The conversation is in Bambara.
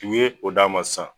U ye o da ma sisan.